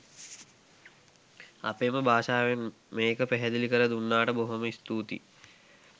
අපේම භාෂාවෙන් මේක පැහැදිලි කර දුන්නට බොහොම ස්තුතියි.